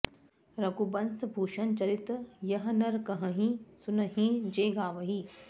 रघुबंस भूषन चरित यह नर कहहिं सुनहिं जे गावहीं